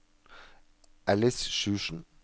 Alice Sjursen